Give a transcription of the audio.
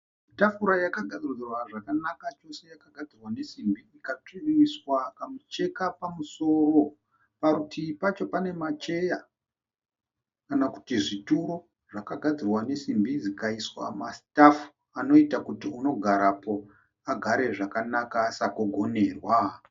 Tafura yakagadziridzwa zvakanaka chose yakagadzirwa nesimbi ikatsvi ikaiswa kamucheka pamusoro. Parutivi pacho pane macheya kana kuti zvituro zvakagadzirwa nesimbi zvikaiswa masitafu. Anoita kuti unogarapo agare zvakanaka asagogonerwa.